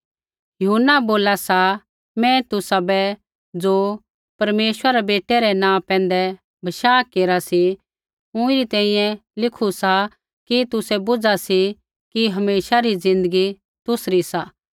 यूहन्ना बोला सा मैं तुसाबै ज़ो परमेश्वरा रै बेटै रै नाँ पैंधै बशाह केरा सी ऊँईरी तैंईंयैं लिखा सा कि तुसै बुझा कि हमेशा री ज़िन्दगी तुसरी सा